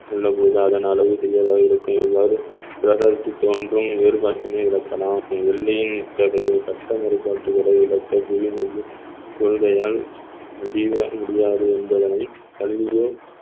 உள்ளபோது அதன் அளவு சிறியதாக இருக்கும் இவ்வாறு கிரகத்தில் தோன்றும் வேறுபாட்டினை இழக்கலாம் வெள்ளியின் இத்தகையை கட்ட மறுப்பாட்டுகளை விளக்க புளிமையில் கொள்கையால் முடி~ முடியாது என்பதனை கலிலியோ